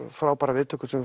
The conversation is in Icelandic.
frábærar viðtökur sem við